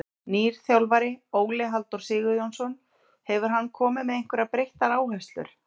Nýr þjálfari, Óli Halldór Sigurjónsson, hefur hann komið með einhverjar breyttar áherslur?